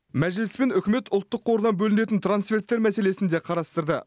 мәжіліс пен үкімет ұлттық қордан бөлінетін трансферттер мәселесін де қарастырды